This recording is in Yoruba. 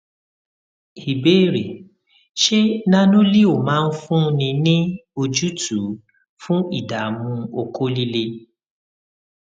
ìbéèrè ṣé nanoleo máa fúnni ní ojútùú fun idamu oko lile